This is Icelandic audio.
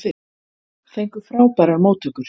Fengu frábærar móttökur